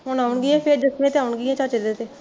ਹੁਣ ਆਉਣਗੀਆ ਫੇਰ ਦਸਵੇ ਤੇ ਆਉਣਗੀਆ ਚਾਚੇ ਦੇ ਤੇ